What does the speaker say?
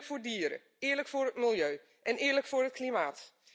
Eerlijk voor dieren, eerlijk voor het milieu en eerlijk voor het klimaat.